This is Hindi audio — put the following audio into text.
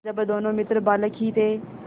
जब दोनों मित्र बालक ही थे